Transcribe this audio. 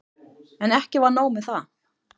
En ekki var nóg með það.